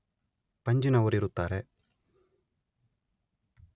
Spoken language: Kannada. ಪಂಜಿನವರು ಇರುತ್ತಾರೆ